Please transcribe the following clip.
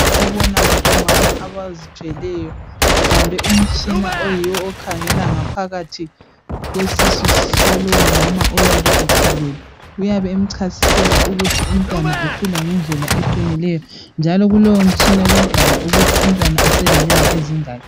Obona ngabomama abazithweleyo ebambe umtshina oyiwo okhangela ngaphakathi kwesisu salowo mama oyabe ekhulelwe uyabe emchasisela ukuthi umntwana ukhula ngendlela eqinileyo njalo kulowo mtshina kuyabhala ukuthi umntwana uselenyanga ezingaki.